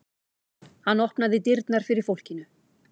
Hann opnaði dyrnar fyrir fólkinu.